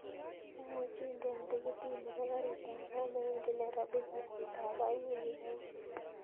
Imuchi indean tikitit nebo karit ab maat newendi nairobi kasit ab aeng' wikinan